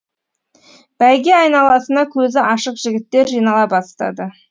бәйге айналасына көзі ашық жігіттер жинала бастады